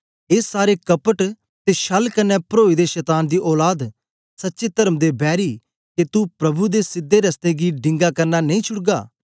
ए सारे कपट ते छल कन्ने परोए दे शतान दी औलाद सच्चे तर्म दे बैरी के तू प्रभु दे सीधे रस्तें गी डिंगा करना नेई छुडगा